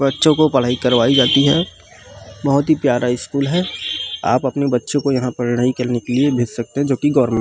बच्चो को पढाई करवाई जाती है बहुत ही प्यारा स्कूल है आप अपने बच्चो को यहाँ पढ़ाई करने भेज सकते है जो की गॉवर्मेंट --